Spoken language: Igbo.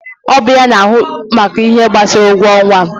Ọ bụ ya na ahụ maka ihe gbasara ụgwọ ọnwa